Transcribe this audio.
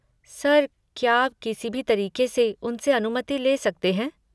Sir क्या आप किसी भी तरीक़े से उनसे अनुमति ले सकते हैं?